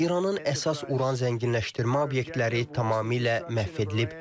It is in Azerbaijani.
İranın əsas Uran zənginləşdirmə obyektləri tamamilə məhv edilib.